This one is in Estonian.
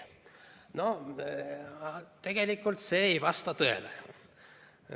No tegelikult see ei vasta tõele.